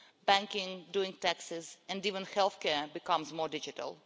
Banking, doing taxes and even health care are becoming more digital.